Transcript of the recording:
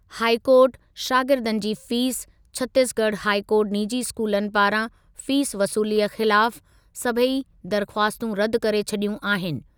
High court, शागिर्दनि जी fees, Chhattisgarh high court निजी स्कूलनि पारां फ़ीस वसूलीअ ख़िलाफ सभई दरख़्वास्तूं रदि करे छॾियूं आहिनि।